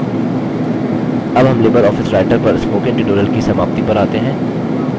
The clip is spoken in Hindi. अब हम लिबर आफिस writer पर spoken tutorial की समाप्ति पर आते हैं